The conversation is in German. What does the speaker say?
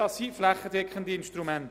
Das sind flächendeckende Instrumente.